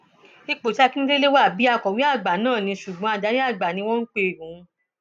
ipò tí akíndélé wà bíi ti akọwé àgbà náà ní ṣùgbọn adarí àgbà ni wọn ń pe òun